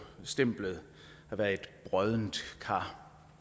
stemplet at være et broddent kar